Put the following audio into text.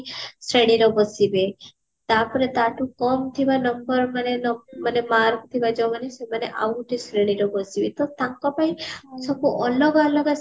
ଶ୍ରେଣୀରେ ବସିବେ ତାପରେ ତାଠୁ କମ ଥିବା number ମାନେ ମାନେ mark ଥିବ ଯୋଉମାନେ ସେମାନେ ଆଉ ଗୋଟେ ଶ୍ରେଣୀରେ ବସିବେ ତ ତାଙ୍କ ପାଇଁ ସବୁ ଅଲଗା ଅଲଗା